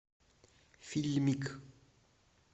фильмик